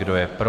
Kdo je pro?